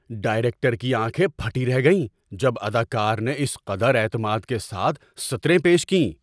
Director کی آنکھیں پھٹی رہ گئیں جب اداکار نے اس قدر اعتماد کے ساتھ سطریں پیش کیں۔